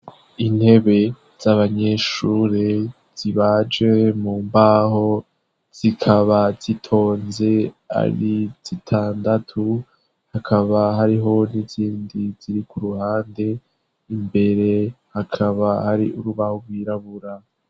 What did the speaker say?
Intebe z'abanyeshure zibaje mu mbaho, zikaba zitonze ari zitandatu ,hakaba hariho n'izindi ziri kuruhande, imbere hakaba hari urubaho rwirabura.